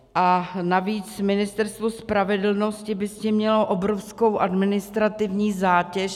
A navíc Ministerstvo spravedlnosti by s tím mělo obrovskou administrativní zátěž.